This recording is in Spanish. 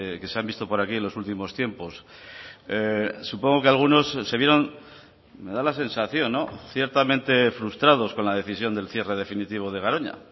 que se han visto por aquí en los últimos tiempos supongo que algunos se vieron me da la sensación ciertamente frustrados con la decisión del cierre definitivo de garoña